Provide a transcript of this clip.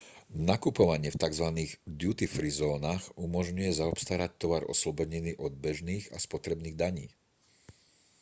nakupovanie v tzv duty free zónach umožňuje zaobstarať tovar oslobodený od bežných a spotrebných daní